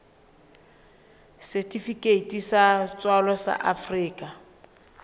setifikeiti sa tswalo sa afrika